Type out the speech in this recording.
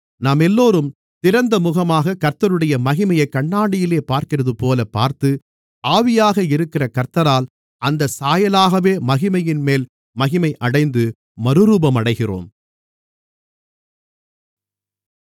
நாமெல்லோரும் திறந்த முகமாகக் கர்த்தருடைய மகிமையைக் கண்ணாடியிலே பார்க்கிறதுபோலப் பார்த்து ஆவியாக இருக்கிற கர்த்தரால் அந்தச் சாயலாகவே மகிமையின்மேல் மகிமையடைந்து மறுரூபமடைகிறோம்